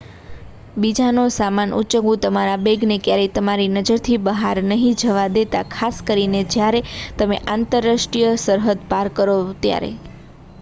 બીજાનો સામાન ઉંચકવું તમારા બૅગને ક્યારેય તમારી નજરથી બહાર નહિ જવા દેતા ખાસ કરીને જયારે તમે આંતરાષ્ટ્રીય સરહદ પાર કરો ત્યારે